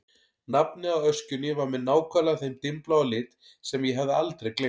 Nafnið á öskjunni var með nákvæmlega þeim dimmbláa lit sem ég hafði aldrei gleymt.